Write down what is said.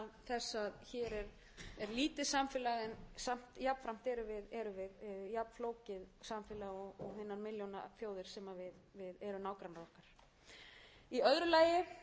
þess að hér er lítið samfélag en samt jafnframt erum við jafnflókið samfélag og milljónaþjóðir sem eru nágrannar okkar í öðru lagi verði skapaðir hagrænir hvatar fyrir ökutæki sem